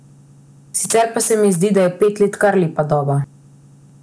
Sicer pa se mi zdi, da je pet let kar lepa doba.